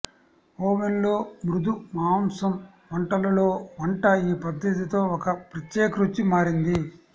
ఓవెన్లో మృదు మాంసం వంటలలో వంట ఈ పద్ధతితో ఒక ప్రత్యేక రుచి మారింది